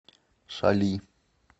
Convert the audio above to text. шали